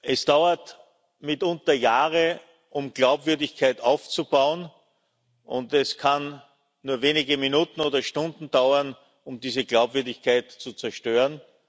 Es dauert mitunter Jahre, um Glaubwürdigkeit aufzubauen, und es kann nur wenige Minuten oder Stunden dauern, um diese Glaubwürdigkeit zu zerstören.